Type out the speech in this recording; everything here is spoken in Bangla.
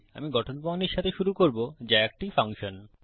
আমি গঠন প্রণালীর সাথে শুরু করব যা একটি ফাংশন